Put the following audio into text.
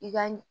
I ka nin